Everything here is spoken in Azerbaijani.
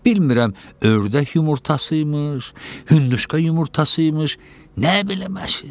Bilmirəm ördək yumurtası imiş, hündüşka yumurtası imiş, nə bilim aşə?